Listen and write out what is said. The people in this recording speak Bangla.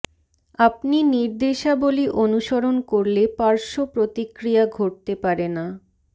আপনি নির্দেশাবলী অনুসরণ করলে পার্শ্ব প্রতিক্রিয়া ঘটতে পারে না